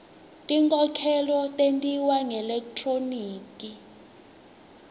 tinkhokhelo tentiwa ngelekthroniki